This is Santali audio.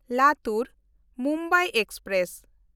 ᱞᱟᱛᱩᱨ–ᱢᱩᱢᱵᱟᱭ ᱮᱠᱥᱯᱨᱮᱥ